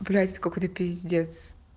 блять это какой-то пиздец